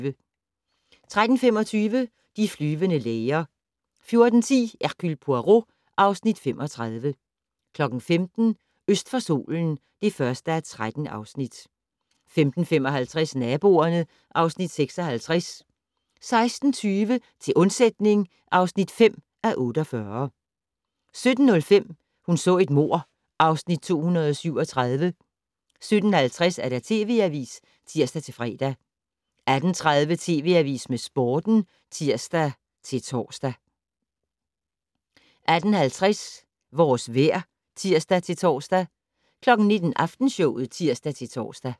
13:25: De flyvende læger 14:10: Hercule Poirot (Afs. 35) 15:00: Øst for solen (1:13) 15:55: Naboerne (Afs. 56) 16:20: Til undsætning (5:48) 17:05: Hun så et mord (Afs. 237) 17:50: TV Avisen (tir-fre) 18:30: TV Avisen med Sporten (tir-tor) 18:50: Vores vejr (tir-tor) 19:00: Aftenshowet (tir-tor)